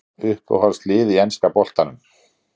Uppáhalds lið í enska boltanum?